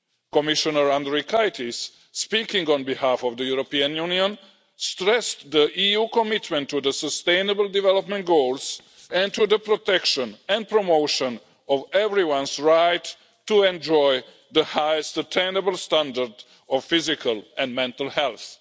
Commissioner Andriukaitis, speaking on behalf of the European Union, stressed the EU's commitment to the sustainable development goals, and to the protection and promotion of everyone's right to enjoy the highest attainable standard of physical and mental health.